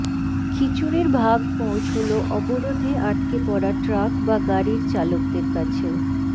খিচুড়ির ভাগ পৌঁছল অবরোধে আটকে পড়া ট্রাক বা গাড়ির চালকদের কাছেও